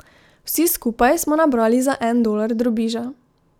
Vsi skupaj smo nabrali za en dolar drobiža.